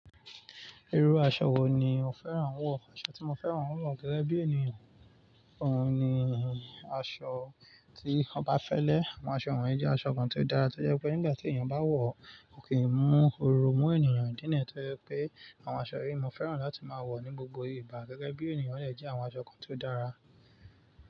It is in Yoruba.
Irú aṣọ wo ni o fẹ́ran wọ̀? Aṣọ tí mo fẹ́ran wọ̀ gẹ́gẹ́ bí ènìyàn ohun ni aṣọ tí oba fẹ́lẹ́. Àwọn aṣọ wọ̀nyí jẹ́ aṣọ kan tó dára tó jẹ́ pé nígbà tí ènìyàn bá wọ̀ ò ko kí ń mú oru mú ènìyàn dína tó jẹ́ pé àwọn aṣọ yíi mo fẹ́ran láti máa wọ̀ ní gbogbo ìgbà gẹ́gẹ́ bí ènìyàn, o dẹ̀ jẹ́ àwọn aṣọ kan tó dára.